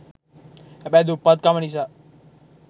හැබැයි දුප්පත් කම නිසා